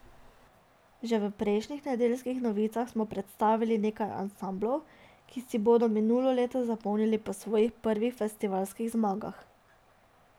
Že v prejšnjih Nedeljskih novicah smo predstavili nekaj ansamblov, ki si bodo minulo leto zapomnili po svojih prvih festivalskih zmagah.